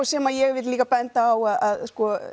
sem ég vil líka benda á að